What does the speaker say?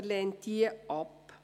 Er lehnt sie ab.